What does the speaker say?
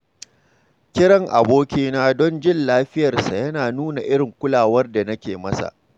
Kiran abokina don jin lafiyarsa yana nuna irin kulawar da nake masa.